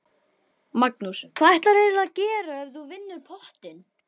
Magnús: Hvað ætlarðu að gera ef þú vinnur pottinn?